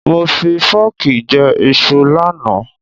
Mo fi fọ́ọ̀kì jẹ iṣu lánàá.